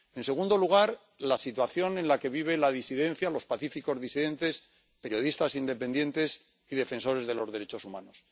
En segundo lugar, la situación en la que vive la disidencia, los pacíficos disidentes, periodistas independientes y defensores de los derechos humanos